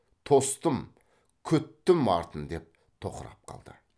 тостым күттім артын деп тоқырап қалды